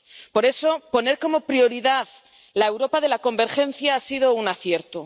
Por eso, poner como prioridad la Europa de la convergencia ha sido un acierto.